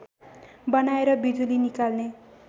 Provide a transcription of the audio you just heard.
बनाएर बिजुली निकाल्ने